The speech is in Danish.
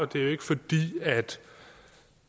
det er jo ikke fordi